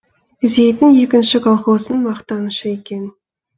зейтін екінші колхоздың мақтанышы екен